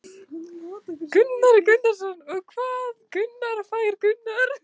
Hjörtur Hjartarson: Og hvað skilaboð fær hann?